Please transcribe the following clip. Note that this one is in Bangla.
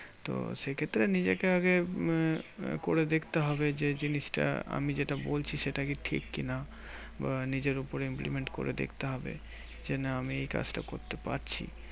তো সেই ক্ষেত্রে নিজেকে আগে আহ করে দেখতে হবে যে, জিনিসটা আমি যেটা বলছি সেটা কি ঠিক কি না? বা নিজের উপরে implement করে দেখতে হবে যে না আমি এই কাজটা করতে পারছি?